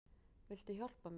Viltu hjálpa mér?